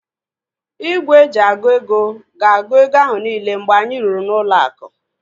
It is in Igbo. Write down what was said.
Igwe eji agụ ego gs-agu ego ahu niile mgbe anyị rụrụ ụlọ aku